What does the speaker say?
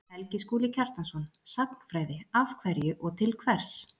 Helgi Skúli Kjartansson: Sagnfræði, af hverju og til hvers